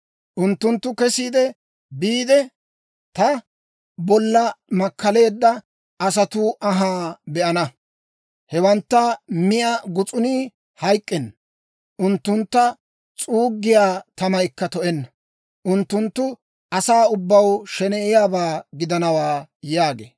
Unttunttu kesi biide, ta bolla makkaleedda asatuu anhaa be'ana. Hewantta miyaa gus'unii hayk'k'enna; unttuntta s'uuggiyaa tamaykka to"enna. Unttunttu asaa ubbaw sheneyiyaabaa gidanawaa» yaagee.